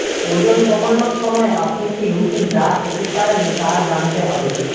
ওজন কমানোর সময় আপনি কি রুটি যা খেতে পারেন তা জানতে হবে